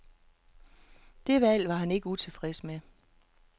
Det valg var han ikke utilfreds med.